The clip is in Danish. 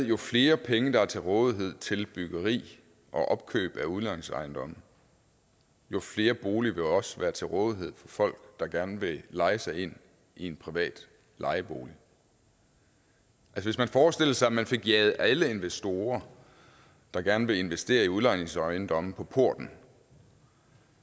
jo flere penge der er til rådighed til byggeri og opkøb af udlejningsejendomme jo flere boliger vil også være til rådighed for folk der gerne vil leje sig ind i en privat lejebolig hvis man forestillede sig at man fik jaget alle investorer der gerne vil investere i udlejningsejendomme på porten